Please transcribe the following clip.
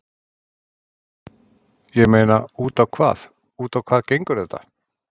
Ég meina út á hvað, út á hvað gengur þetta?